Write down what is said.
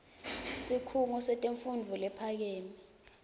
sikhungo setemfundvo lephakeme